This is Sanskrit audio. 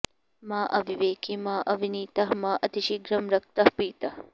मा अविवेकी मा अविनीतः मा अतिशीघ्रं रक्तः पीतः